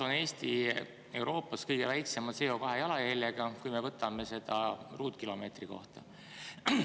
Eesti on kõige väiksema CO2 jalajäljega riik Euroopas, kui me võtame seda ruutkilomeetri kohta.